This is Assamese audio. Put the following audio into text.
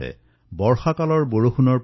বৰষুণৰ পানী আমি ৰক্ষা কৰিব লাগিব